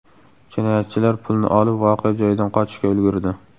Jinoyatchilar pulni olib, voqea joyidan qochishga ulgurdi.